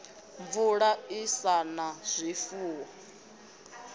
mvula i sa na zwifuwo